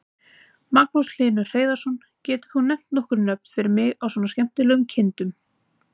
Magnús Hlynur Hreiðarsson: Getur þú nefnt nokkur nöfn fyrir mig svona á skemmtilegum kindum?